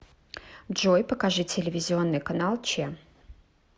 джой покажи телевизионный канал че